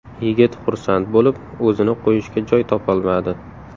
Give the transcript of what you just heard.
Yigit xursand bo‘lib, o‘zini qo‘yishga joy topolmadi.